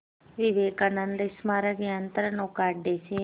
विवेकानंद स्मारक यंत्रनौका अड्डे से